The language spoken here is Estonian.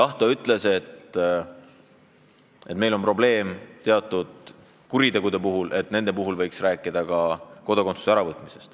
Jah, ta ütles, et meil on probleem teatud kurjategijatega, et teatud kuritegude puhul võiks kodakondsuse ära võtta.